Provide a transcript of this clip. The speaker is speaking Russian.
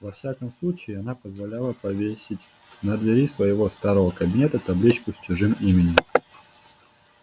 во всяком случае она позволяла повесить на двери своего старого кабинета табличку с чужим именем